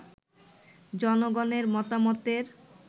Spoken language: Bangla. জনগণের মতামতের